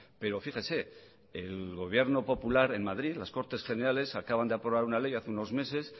pero fíjese el gobierno popular en madrid las cortes generales acaban de aprobar una ley hace unos meses